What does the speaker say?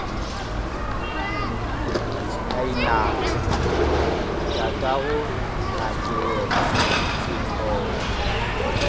ka inama tatagonakeyena ke thoma